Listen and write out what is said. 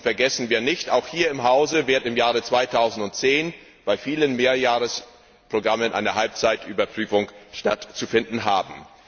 Und vergessen wir nicht, auch hier im Hause wird im Jahre 2010 bei vielen Mehrjahresprogrammen einer Halbzeitüberprüfung stattzufinden haben.